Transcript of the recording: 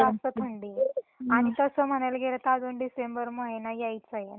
हो जरा जास्त थंडी आहे आणि तसं म्हणायला गेल तर अजून डिसेंबर महिना यायचा आहे.